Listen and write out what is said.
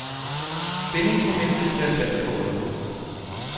Spændingsmomentet kan være svært at få øje på.